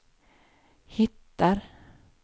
hittar